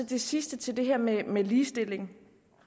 til sidst til det her med med ligestilling